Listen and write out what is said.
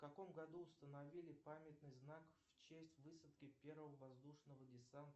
в каком году установили памятный знак в честь высадки первого воздушного десанта